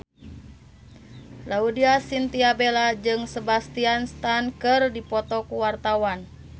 Laudya Chintya Bella jeung Sebastian Stan keur dipoto ku wartawan